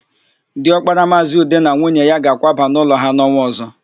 Diọkpara Maazị Ude na nwunye ya ga-akwaba n'ụlọ ha n'ọnwa ọ̀zọ́.